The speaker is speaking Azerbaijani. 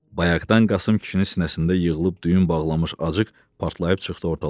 Bayaqdan Qasım kişinin sinəsində yığılıb düyün bağlamış acıq partlayıb çıxdı ortalığa.